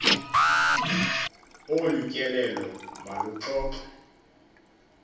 olu tyelelo maluxoxwe